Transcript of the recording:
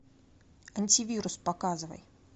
антивирус показывай